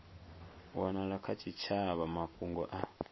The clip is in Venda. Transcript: wanala kha tshitshavha mafhungo a